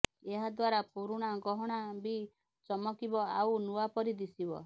ଏହାଦ୍ୱାରା ପୁରୁଣା ଗହଣା ବି ଚମକିବ ଆଉ ନୂଆ ପରି ଦିଶିବ